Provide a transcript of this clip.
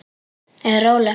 Er róleg.